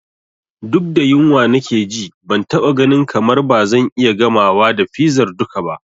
Duk da yunwa nake ji, ban taɓa ganin kamar ba zan iya gamawa da fizar duka ba.